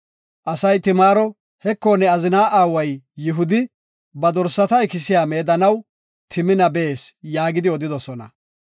Asay Timaaro, “Heko, ne azina aaway Yihudi, ba dorsata ikisiya meedanaw Timina bees” yaagidi odidosona.